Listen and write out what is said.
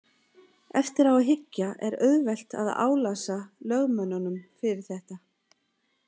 Eftir á að hyggja er auðvelt að álasa lögmönnunum fyrir þetta.